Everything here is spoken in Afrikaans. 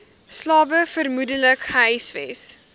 slawe vermoedelik gehuisves